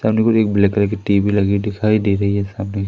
एक black colour की TV लगी है दिखाई दे रही है सामने।